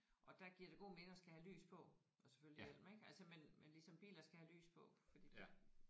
Og der giver det god mening at skal have lys på og selvfølgelig hjelm ik altså men men ligesom biler skal have lys på fordi det